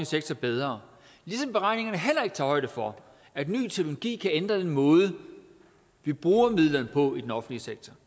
sektor bedre ligesom beregningerne heller ikke tager højde for at ny teknologi kan ændre den måde vi bruger midlerne på i den offentlige sektor